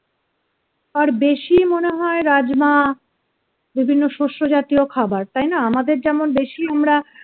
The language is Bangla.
আর বেশি মনে হয় রাজমা, বিভিন্ন শস্যজাতীয় খাবার তাই না আমাদের যেমন বেশি আমরা